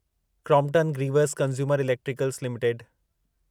Crompton Greaves consumer electricals limited